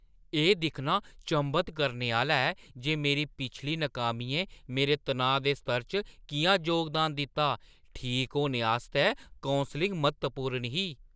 एह् दिक्खना चंभत करने आह्‌ला ऐ जे मेरी पिछली नाकामियें मेरे तनाऽ दे स्तर च किʼयां योगदान दित्ता। ठीक होने आस्तै कौंसलिङ म्हत्तवपूर्ण ही।